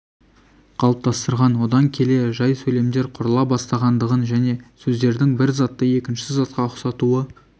қалыптастырған одан келе жай сөйлемдер құрыла бастағандығын және сөздердің бір заттың екінші затқа ұқсатуы